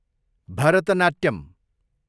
Bharatanatyam